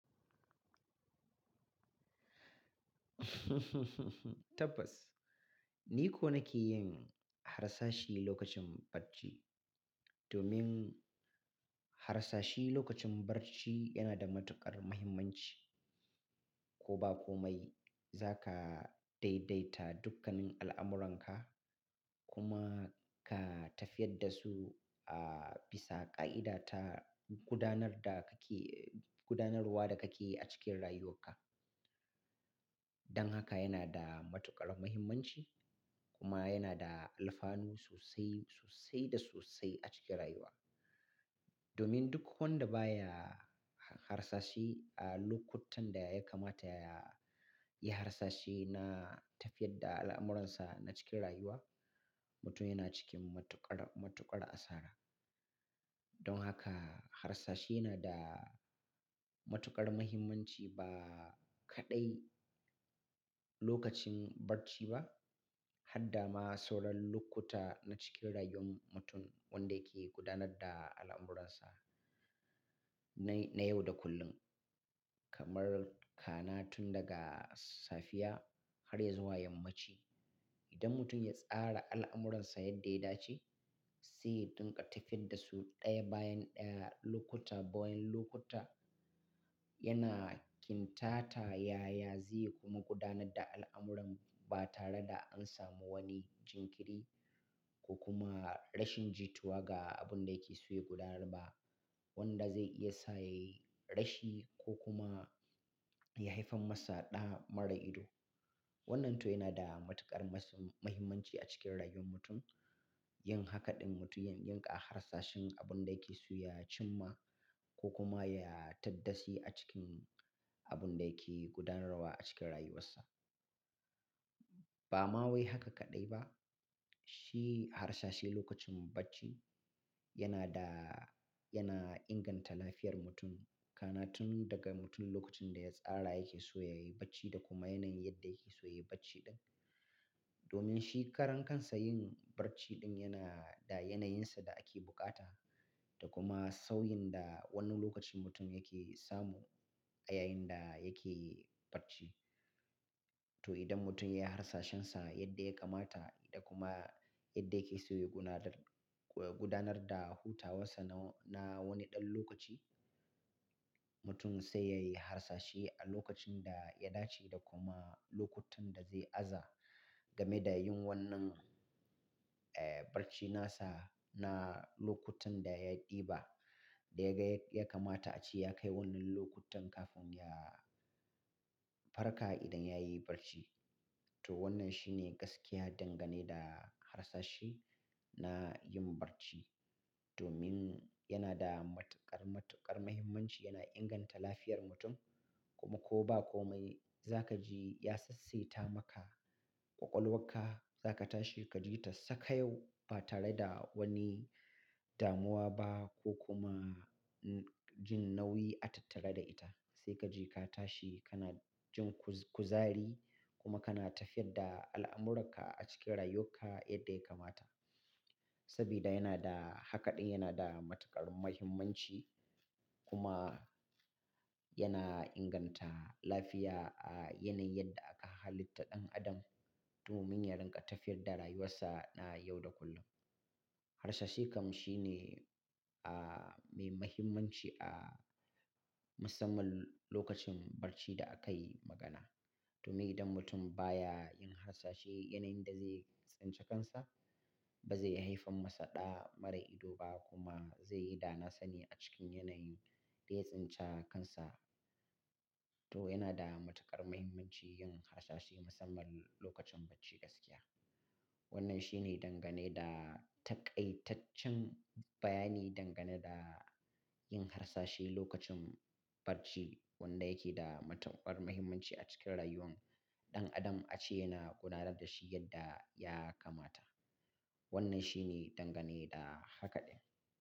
Tabbas, ni ko nake yin harsashi lokacin barci. Domin harsashi lokacin barci yana da matuƙar muhimmanci. Ko ba komai, za ka daidaita dukkanin al'amuranka kuma ka tafiyar da su a bisa ƙa'ida ta gudanar da kake-- gudanarwa da kake yi a cikin rayuwarka. Dan haka yana da matuƙar muhimmanci kuma yana da alfanu sosai, sosai da sosai a cikin rayuwa. Domin duk wanda baya harsashi a lokutan da ya kamata ya yi harsashi na tafiyar da al'amuransa na cikin rayuwa, mutum yana cikin matuƙar, matuƙar asara. Don haka harsashi yana da matuƙar muhimmanci ba kaɗai lokacin barci ba, har da ma sauran lokuta na cikin rayuwar mutum wanda yake gudanar da al'amuransa na, na yau da kullum. Kamar kana tun daga safiya har ya zuwa yammaci. Idan mutum ya tsara al'amuransa yadda ya dace, zai dunƙa tafiyar da su ɗaya bayan ɗaya, lokuta bayan lokuta, yana kintata ya, ya zai kuma gudanar da al'amuran ba tare da an samu wani jinkiri ko kuma rashin jituwa ga abun da yake so ya gudanar ba. Wanda zai iya sa ya yi rashi ko kuma ya haifar masa ɗa mara ido. Wannan to yana da matuƙar masu-- muhimmanci a cikin rayuwar mutum. Yin haka ɗin mutum yana yinƙa harsashin abun da yake so ya cimma ko kuma ya tabbaci a cikin abun da yake gudanarwa a cikin rayuwarsa. Ba ma wai haka kaɗai ba, shi harsashi lokacin barci yana da-- yana inganta lafiyar mutum. Kana tun daga mutum lokacin da ya tsara yake so ya yi barci da kuma yanayin yadda yake so ya yi barci ɗin. Domin shi karan kansa yin barci ɗin yana da yanayinsa da ake bukata da kuma sauyin da wani lokacin mutum yake samu a yayin da yake barci. To idan mutum ya yi harsashinsa yadda ya kamata da kuma yadda yake so ya gudanar, gudanar da hutawarsa na, na wani ɗan lokaci, mutum sai ya yi harsashi a lokacin da ya dace da kuma lokutan da zai aza game da yin wannan, eh, barci nasa na lokutan da ya ɗiba, da ya ga ya kamata a ci ya kai wannan lokutan kafin ya farka idan ya yi barci. To wannan shine gaskiya dangane da harsashi na yin barci. Domin yana da matuƙar, matuƙar muhimmanci yana inganta lafiyar mutum kuma ko ba komai, za kaji ya sassaita maka ƙwaƙwalwarka, za ka tashi ka ji ta saka yau ba tare da wani damuwa ba ko kuma jin nauyi a tattara da ita. Sai kaji ka tashi kana jin kuzari kuma kana tafiyar da al'amurarka a cikin rayuwarka yadda ya kamata. Sabida yana da haka ɗin yana da matuƙar muhimmanci kuma yana inganta lafiya a yanayin da aka halitta ɗan adam. Domin ya rinƙa tafiyar da rayuwarsa na yau da kullum. Harsashi kam shi ne, ah, mai muhimmanci a musamman lokacin barci da aka yi magana. Domin idan mutum baya yin harsashi yanayin da zai tsince kansa, ba zai haifar masa ɗa mara ido ba kuma zai yi dana sani a cikin yanayin da ya tsince kansa. To yana da matuƙar muhimmanci yin harsashi musamman lokacin barci gaskiya. Wannan shi ne dangane da taƙaitaccen bayani dangane da yin harsashi lokacin barci wanda yake da matuƙar muhimmanci a cikin rayuwar ɗan adam a ce yana gudanar da shi yadda ya kamata. Wannan shi ne dangane da haka ɗin.